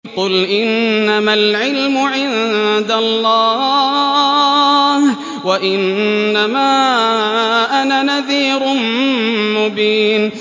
قُلْ إِنَّمَا الْعِلْمُ عِندَ اللَّهِ وَإِنَّمَا أَنَا نَذِيرٌ مُّبِينٌ